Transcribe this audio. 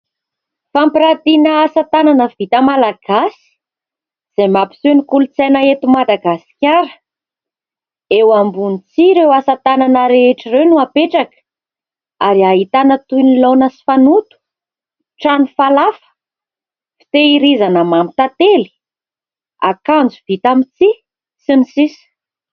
Fampiratiana asa tanana vita Malagasy izay mampiseho ny kolotsaina eto Madagasikara. Eo ambony tsihy ireo asa tanana rehetra ireo no apetraka ary ahitana toy ny laona sy fanoto, trano falafa fitehirizana, mamy tantely akanjo vita amin'ny tsihy sy ny sisa.